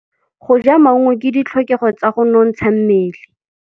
Go ja maungo ke ditlhokegô tsa go nontsha mmele.